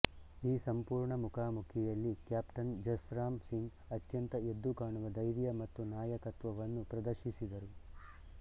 ಈ ಸಂಪೂರ್ಣ ಮುಖಾಮುಖಿಯಲ್ಲಿ ಕ್ಯಾಪ್ಟನ್ ಜಸ್ರಾಮ್ ಸಿಂಗ್ ಅತ್ಯಂತ ಎದ್ದುಕಾಣುವ ಧೈರ್ಯ ಮತ್ತು ನಾಯಕತ್ವವನ್ನು ಪ್ರದರ್ಶಿಸಿದರು